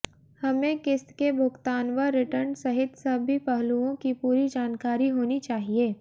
हमें किस्त के भुगतान व रिटर्न सहित सभी पहलुओं की पूरी जानकारी होनी चाहिए